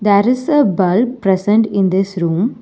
There is a bulb present in this room.